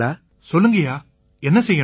சொல்லுங்கய்யா என்ன செய்யணும்